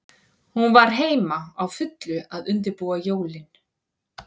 Hún var heima, á fullu að undirbúa jólin.